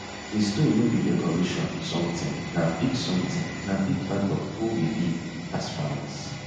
di stone no be decoration sometin na big sometin na big part of who we be as farmers